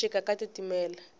hi xixika ka titimela